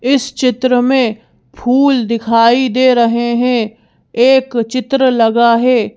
इस चित्र में फूल दिखाई दे रहे हैं एक चित्र लगा है।